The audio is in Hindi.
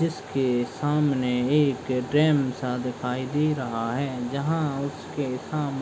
जिसके सामने एक डैम सा दिखाई दे रहा है जहाँ उसके सामने --